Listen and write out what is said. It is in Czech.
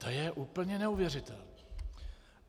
To je úplně neuvěřitelné!